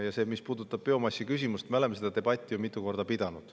Ja mis puudutab biomassi küsimust, siis me oleme seda debatti ju mitu korda pidanud.